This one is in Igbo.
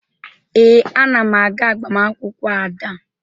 Ee, ana m aga agbamaakwụkwọ Ada